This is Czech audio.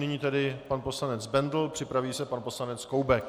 Nyní tedy pan poslanec Bendl, připraví se pan poslanec Koubek.